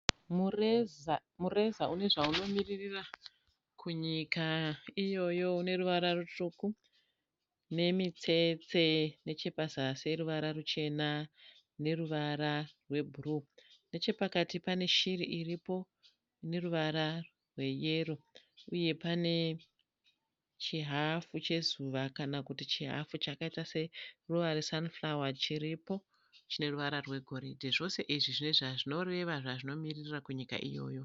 Mureza une zvaunomiririra kunyika iyoyo uneruvara rutsvuku nemitsetse nechepazasi yeruvara ruchena neruvara re bhuruu nechepakati pane shiri iripo ineruvara rwe yero uye pane chi hafu chezuva kana kuti chihafu chakaita se ruva re 'sun flower' chine ruvara re goridhe zvose izvi zvine zvazvinomiririra kunyika iyoyo.